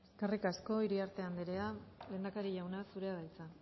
eskerrik asko eskerrik asko iriarte anderea lehendakari jauna zurea da hitza